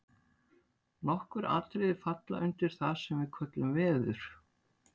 nokkur atriði falla undir það sem við köllum „veður“